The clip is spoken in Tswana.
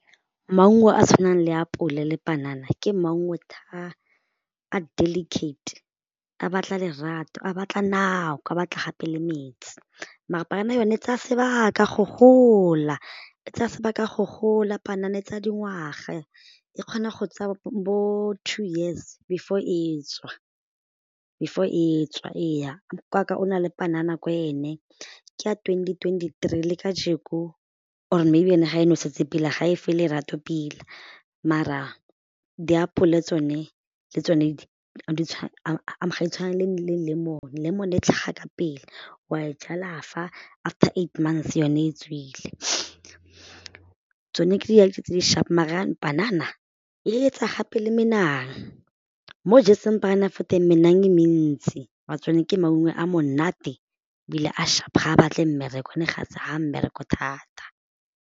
Maungo a a tshwanang le apole le panana ke maungo a delicate a batla lerato a batla nako a batla gape le metsi, mare panana yone tsaya sebaka go gola, e tsaya sebaka go gola panana e tsaya dingwaga e kgona go tsaya bo two years before e tswa, before e tswa ee, nkoko wa ka o na le panana ko ene ke ya twenty twenty three kajeko or maybe ene ga e nosetse ga e fe lerato mara diapole tsone le tsone ga di tshwane le lemon, lemon e tlhaga ka pele, wa e jala fa after eight months yone e tswile, tsone ke dilo tse di sharp maar panana e etsa gape le menang, mo o jetseng panana fo teng menang gape e mentsi maar-a tsone ke maungo a monate ebile a sharp ga a batle mmereko one ga mmereko thata.